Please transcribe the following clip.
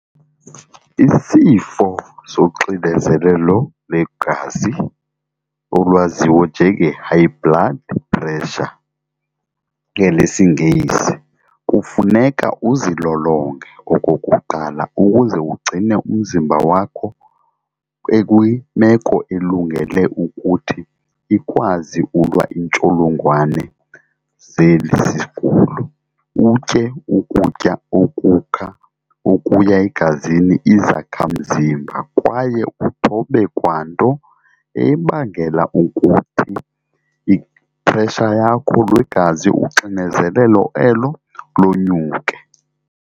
Isifo soxinezelelo lwegazi olwaziwa njenge-high blood pressure ngelesiNgesi. Kufuneka uzilolonge okokuqala ukuze ugcine umzimba wakho ekwimeko elungele ukuthi ikwazi ulwa intsholongwane zeli sigulo. Utye ukutya okukha okuya egazini, izakha mzimba kwaye uthobe kwanto ebangela ukuthi i-pressure yakho lwegazi uxinezelelo elo lonyuke.